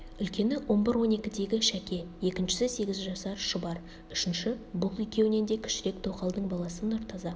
үлкені он бір-он екідегі шәке екіншісі сегіз жасар шұбар үшінші бұл екеуінен де кішірек тоқалдың баласы нұртаза